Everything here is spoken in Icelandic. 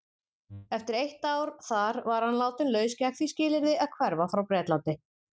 Eftir eitt ár þar var hann látinn laus gegn því skilyrði að hverfa frá Bretlandi.